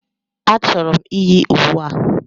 A chọrọ m iyi uwe a.